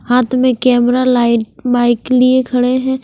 हाथ में camera bike लिए खडे है।